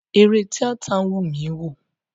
Eré tíátà wùn mi wò.